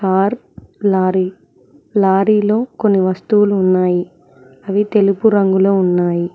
Are lorry లారీలో కొన్ని వస్తువులు ఉన్నాయి అవి తెలుపు రంగులో ఉన్నాయి.